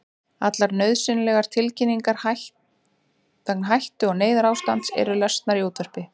Allar nauðsynlegar tilkynningar vegna hættu- eða neyðarástands eru lesnar í útvarpi.